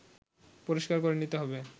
পরিষ্কার করে নিতে হবে